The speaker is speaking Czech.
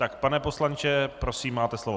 Tak pane poslanče, prosím, máte slovo.